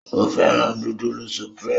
O féràn nudulu Supreme